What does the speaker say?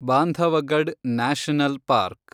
Bandhavgarh national park